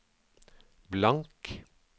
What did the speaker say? blank